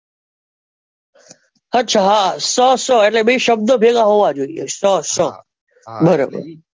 અચ્છા હા, ષ સ એટલે બે શબ્દ ભેગા હોવા જોઈએ ષ સ બરાબર.